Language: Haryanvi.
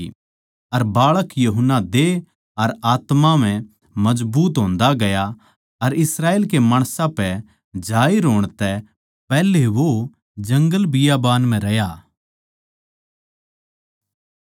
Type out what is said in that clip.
अर बाळक यूहन्ना देह अर आत्मा म्ह मजबूत होन्दा गया अर इस्राएल के माणसां म्ह आण तै पैहले वो जंगलां म्ह रह्या